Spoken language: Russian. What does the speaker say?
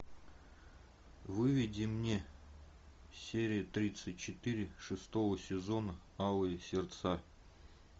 выведи мне серия тридцать четыре шестого сезона алые сердца